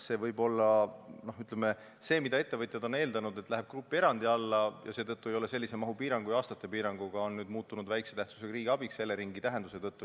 See, mille kohta ettevõtjad on eeldanud, et läheb grupierandi alla, ja millel seetõttu ei ole sellist mahupiirangut või aastate piirangut, on nüüd muutunud vähese tähtsusega riigiabiks Eleringi tõlgenduse tõttu.